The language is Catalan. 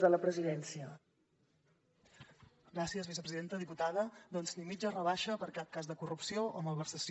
diputada doncs ni mitja rebaixa per cap cas de corrupció o malversació